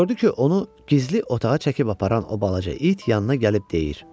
Gördü ki, onu gizli otağa çəkib aparan o balaca it yanına gəlib deyir: